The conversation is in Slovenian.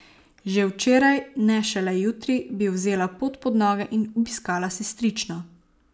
Že včeraj, ne šele jutri, bi vzela pot pod noge in obiskala sestrično.